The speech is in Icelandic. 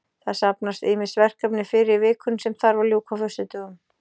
Það safnast ýmis verkefni fyrir í vikunni sem þarf að ljúka á föstudögum.